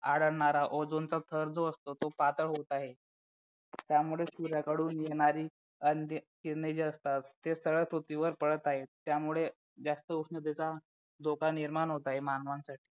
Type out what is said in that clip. आढळणारा ozen चा थर जो असतो तो पातळ होत आहे त्यामुळे सूर्याकडून येणारी किरणे जे असतात ते सरळ पृथ्वीवर पडत आहेत त्यामुळे जास्त उष्णतेचा धोका निर्माण होत आहे मानवांसाठी